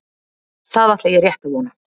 Það ætla ég rétt að vona.